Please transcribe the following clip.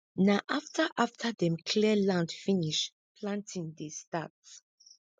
na afta afta dem clear land finish planting dey start